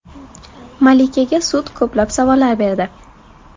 Malikaga sud ko‘plab savollar berdi.